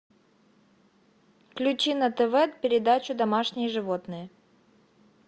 включи на тв передачу домашние животные